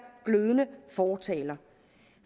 glødende fortaler